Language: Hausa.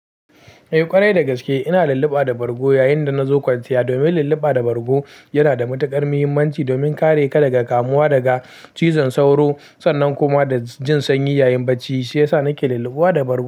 Eh ƙwarai da gaske ina lulluɓa da bargo yayin da nazo kwanciya. Domin lulluɓa da bargo yana da matuƙar muhimmanci domin kare ka daga kamuwa daga cizon sauro sannan kuma da jin sanyi yayin bacci, shi yasa nake lulluɓa da bargo.